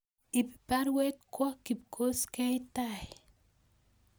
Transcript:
Ib baruet kwo Kipkoskei tai